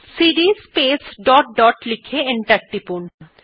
CD space dot dot লিখে enter টিপলাম